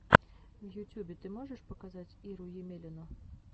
в ютюбе ты можешь показать иру емелину